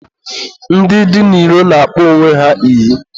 ndị dị n'iro na-akpọ onwe ha iyi.